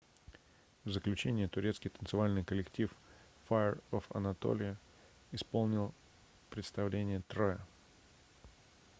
в заключение турецкий танцевальный коллектив fire of anatolia исполнил представление троя